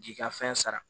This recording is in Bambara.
K'i ka fɛn sara